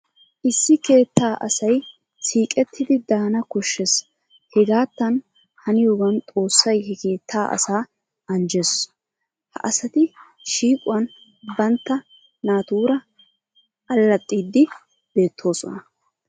Issi keettaa asay siiqettidi daana koshshes heggattan haniyogan xossay he kettaa asaa anjjes. Ha asati shiiquwan bantta naatura allaxxiiddi beettoosona.